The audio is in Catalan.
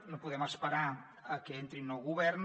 no podem esperar a que entri un nou govern